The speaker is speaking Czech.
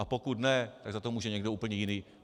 A pokud ne, tak za to může někdo úplně jiný.